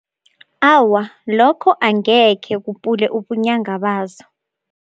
Awa, lokho angekhe kupule ubunyanga bazo.